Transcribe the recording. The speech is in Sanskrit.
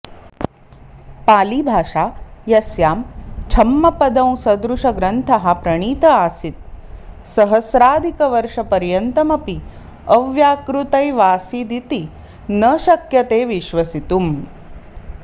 पालिभाषा यस्यां छम्मपदंसदृशग्रन्थः प्रणीत आसीत् सहस्राधिकवर्षपर्यन्तमपि अव्याकृतैवासीदिति न शक्यते विश्वसितुम्